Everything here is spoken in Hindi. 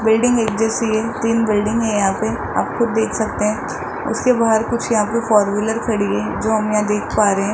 बिल्डिंग एक जैसी है तीन बिल्डिंग है यहां पे आप खुद देख सकते हैं उसके बाहर कुछ यहां पर फोर व्हीलर खड़ी है जो हम यहां देख पा रहे है।